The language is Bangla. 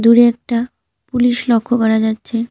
দূরে একটা পুলিশ লক্ষ্য করা যাচ্ছে।